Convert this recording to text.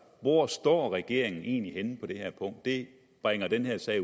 hvor står regeringen egentlig henne på det her punkt det bringer den her sag